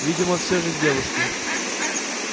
видимо всё же девушки